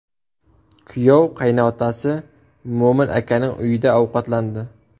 Kuyov qaynotasi Mo‘min akaning uyida ovqatlandi.